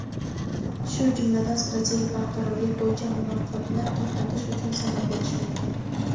shu jumladan strategik barqarorlik bo‘yicha muloqotni to‘xtatish uchun sabab bo‘lishi mumkin.